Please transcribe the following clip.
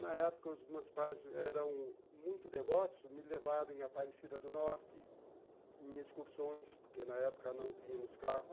Na época os meus pais eram muito devotos, me levaram em Aparecida do Norte, em excursões, porque na época não tínhamos carro.